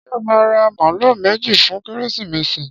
Ṣé ó máa ra màálù méjì fún Kérésìmesì?